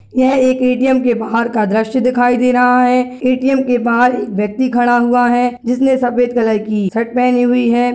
ये एक ए.टी.एम का बाहर का द्रश्य दिखाई दे रहा है ए.टी.ऍम. के बाहर एक व्यक्ति खड़ा हुआ है जिसने सफेद कलर की टी-शर्ट पेहनी हुई है।